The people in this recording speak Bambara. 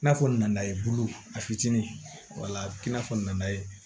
N'a fɔ na ye bulu a fitinin wala a bi k'i n'a fɔ nan'a ye